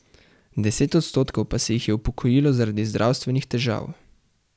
Deset odstotkov pa se jih je upokojilo zaradi zdravstvenih težav.